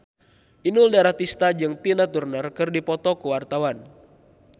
Inul Daratista jeung Tina Turner keur dipoto ku wartawan